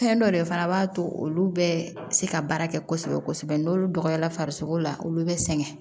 Fɛn dɔ de fana b'a to olu bɛ se ka baara kɛ kosɛbɛ kosɛbɛ n'olu dɔgɔyara farisogo la olu bɛ sɛgɛn